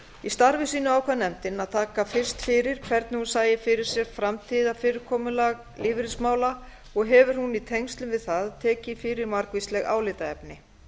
í starfi sínu ákvað nefndin að taka fyrst fyrir hvernig hún sæi fyrir sér framtíðarfyrirkomulag lífeyrismála og hefur hún í tengslum við það tekið fyrir margvísleg álitaefni